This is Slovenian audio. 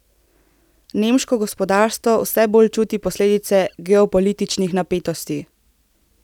Nemško gospodarstvo vse bolj čuti posledice geopolitičnih napetosti.